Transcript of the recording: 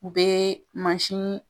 U bɛ mansin